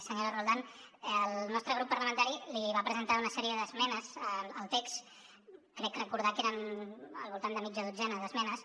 senyora roldán el nostre grup parlamentari li va presentar una sèrie d’esmenes al text crec recordar que eren al voltant de mitja dotzena d’esmenes